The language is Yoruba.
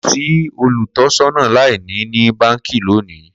Ko si olutọsọna laini ni banki loni